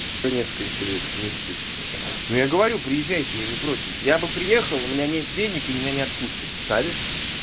по несколько лет смысле ну я говорю приезжайте я не против я бы приехал у меня нет денег и меня не отпустят шаришь